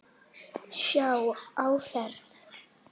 Sjá áferð.